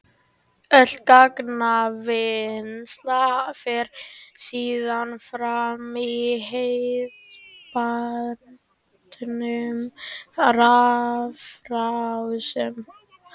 Öll gagnavinnsla fer síðan fram í hefðbundnum rafrásum.